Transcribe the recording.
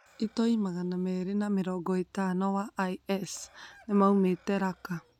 Itoĩ magana merĩ na mĩrongo ĩtano wa IS nĩmaumĩte Raqqa.